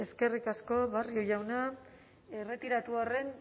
eskerrik asko barrio jauna erretiratu arren